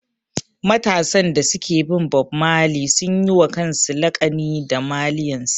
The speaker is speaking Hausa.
Matasan da suke bin mawaƙi Bob Marley sun yi wa kansu laƙani da ''Marlians''